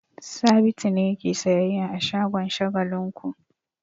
Sabitu ne yake sayyayya a shagon Shagalinku.